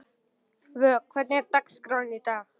Vök, hvernig er dagskráin í dag?